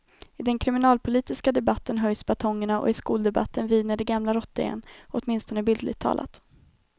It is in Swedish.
I den kriminalpolitiska debatten höjs batongerna och i skoldebatten viner den gamla rottingen, åtminstone bildligt talat.